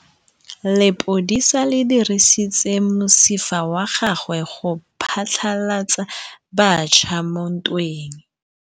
Lepodisa le dirisitse mosifa wa gagwe go phatlalatsa batšha mo ntweng.